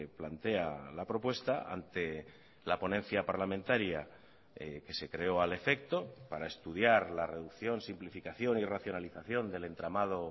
plantea la propuesta ante la ponencia parlamentaria que se creó al efecto para estudiar la reducción simplificación y racionalización del entramado